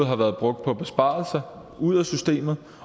har været brugt på besparelser ud af systemet